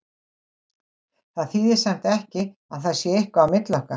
Það þýðir samt ekki að það sé eitthvað á milli okkar.